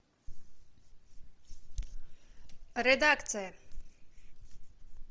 редакция